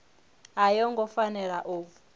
a yo ngo fanela u